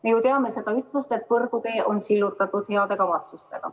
Me ju teame seda ütlust, et põrgutee on sillutatud heade kavatsustega.